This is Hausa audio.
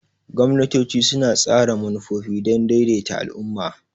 Gwamnatoci suna tsara manufofi don daidaita al'umma.